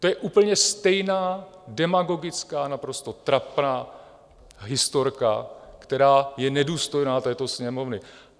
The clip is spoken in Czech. To je úplně stejná demagogická, naprosto trapná historka, která je nedůstojná této Sněmovny.